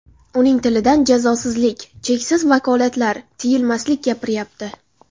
Uning tilidan jazosizlik, cheksiz vakolatlar, tiyilmaslik gapiryapti.